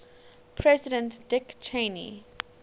president dick cheney